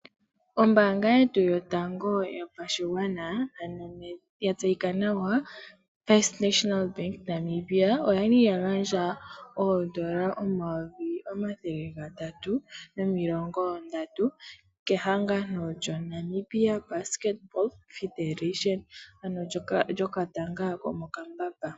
Ombaanga yetu yotango yopashigwana ya tseyika nawa FNB oyali yagandja oondola omayovi omathele gatatu nomilongo ndatu kehangano lyo Namibia Basketball Federation and uudhano wetanga lyomokambamba.